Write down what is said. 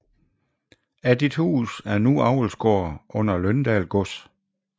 Addithus er nu avlsgård under Løndal Gods